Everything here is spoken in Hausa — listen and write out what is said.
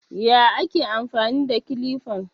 Ya ake amfani da kilifan?